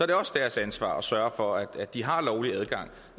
det også deres ansvar at sørge for at de har lovlig adgang